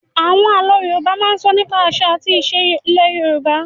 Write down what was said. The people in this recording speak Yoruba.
Àwọn àlọ́ Yorùbá máa ń sọ nípa àṣà àti ìṣe ilẹ̀ Yorùbá